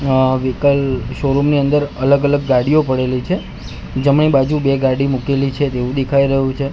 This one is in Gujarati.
આ વહીકલ શોરૂમ ની અંદર અલગ અલગ ગાડીઓ પડેલી છે જમણી બાજુ બે ગાડી મૂકેલી છે તેવું દેખાય રહ્યું છે.